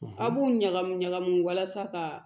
A b'u ɲagami ɲagami walasa ka